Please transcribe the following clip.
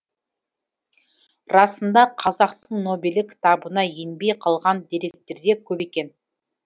расында қазақтың нобелі кітабына енбей қалған деректер де көп екен